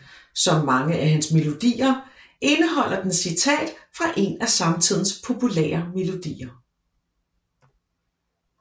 Som mange af hans melodier indeholder den citat fra en af samtidens populære melodier